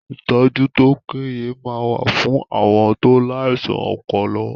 Ìtọ́jú tó péye máa wà fún àwọn tó láìsàn ọpọlọ